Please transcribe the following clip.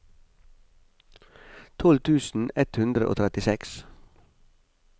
tolv tusen ett hundre og trettiseks